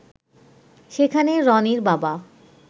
সেখানে রনির বাবা